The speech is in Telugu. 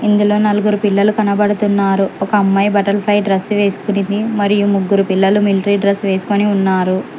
ఇందులో నలుగురు పిల్లలు కానడుతున్నారు ఒక అమ్మాయ్ బట్టర్ ఫ్లై డ్రెస్సు వేసుకునింది మరియు ముగ్గురు పిల్లలు మిల్ట్రీ డ్రెస్సు వేసుకొని ఉన్నారు.